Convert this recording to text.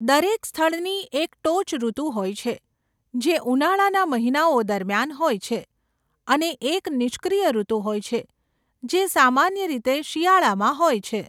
દરેક સ્થળની એક ટોચ ઋતુ હોય છે, જે ઉનાળાના મહિનાઓ દરમિયાન હોય છે, અને એક નિષ્ક્રિય ઋતુ હોય છે, જે સામાન્ય રીતે શિયાળામાં હોય છે.